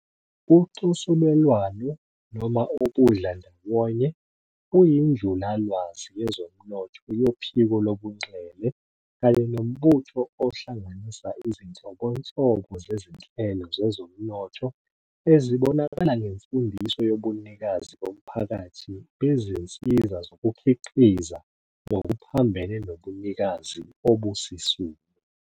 UCosulelwano noma ubudlandawonye, buyinjulalwazi yezomnotho yophiko lobunxele kanye nombutho ohlanganisa izinhlobonhlobo zezinhlelo zezomnotho ezibonakala ngemfundiso yobunikazi bomphakathi bezinsiza zokukhiqiza ngokuphambene nobunikazi obusisulu.